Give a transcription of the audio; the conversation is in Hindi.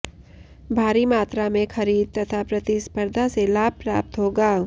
भारी मात्रा में खरीद तथा प्रतिस्पर्धा से लाभ प्राप्त होगा